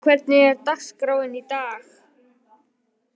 Gloría, hvernig er dagskráin í dag?